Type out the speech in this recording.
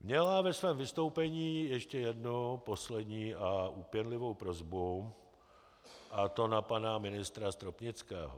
Měla ve svém vystoupení ještě jednu, poslední a úpěnlivou prosbu, a to na pana ministra Stropnického.